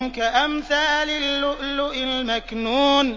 كَأَمْثَالِ اللُّؤْلُؤِ الْمَكْنُونِ